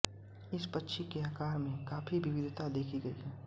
इस पक्षी के आकार में काफ़ी विविधता देखी गई है